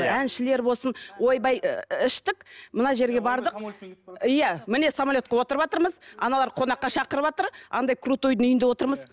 әншілер болсын ойбай іштік мына жерге бардық иә міне самолетке отырыватырмыз аналар қонаққа шақырыватыр андай крутойдың үйінде отырмыз